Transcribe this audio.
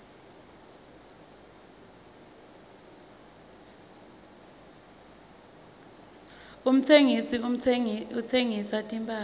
umtsengisi uhsengisa timphahla